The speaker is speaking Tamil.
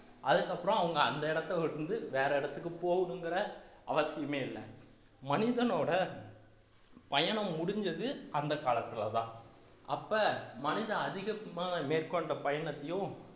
அதுக்கப்புறம் அவங்க அந்த இடத்தை விட்டு வேற இடத்துக்கு போகணுங்கிற அவசியமே இல்லை மனிதனோட பயணம் முடிஞ்சது அந்த காலத்துலதான் அப்ப மனிதன் அதிகம் மேற்கொண்ட பயணத்தையும்